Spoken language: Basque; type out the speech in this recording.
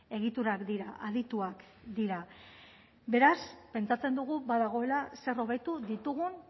egiturak dira adituak dira beraz pentsatzen dugu badagoela zer hobetu ditugun